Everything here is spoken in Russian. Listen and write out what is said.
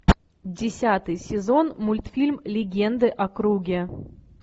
десятый сезон мультфильм легенды о круге